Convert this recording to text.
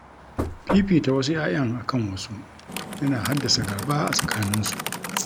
Fifita wasu 'ya'yan akan wasu, yana haddasa gaba a tsakanin su